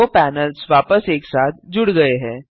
दो पैनल्स वापस एक साथ जुड़ गए हैं